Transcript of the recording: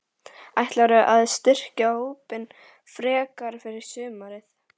Ætlarðu að styrkja hópinn frekar fyrir sumarið?